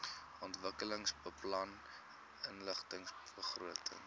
ontwikkelingsbeplanningbegrotings